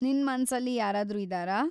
ನಿನ್‌ ಮನ್ಸಲ್ಲಿ ಯಾರಾದ್ರೂ ಇದಾರಾ?